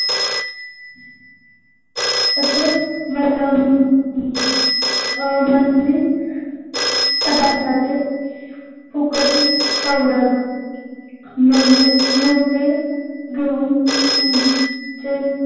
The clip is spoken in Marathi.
असे आमल्लि पदार्थाचे फुकटी powder नॉले नोटेत घेऊन